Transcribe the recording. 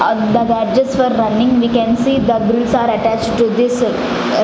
and the gadgets for running we can see the grills are attached to this --